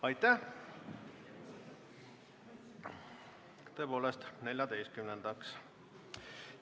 Ahah, jah, tõepoolest 14-ndaks.